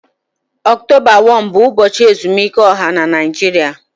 Ọktọba 1 bụ ụbọchị ezumike ọha na Naịjirịa